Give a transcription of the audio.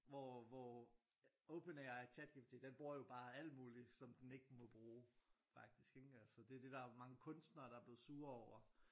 Hvor hvor OpenAI ChatGPT den bruger jo bare alt muligt som den ikke må bruge faktisk ikke altså så det det der er mange kunstnere der er blevet sure over